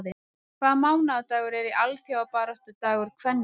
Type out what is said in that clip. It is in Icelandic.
Hvaða mánaðardagur er alþjóðabaráttudagur kvenna?